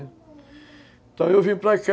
Então, eu vim para cá,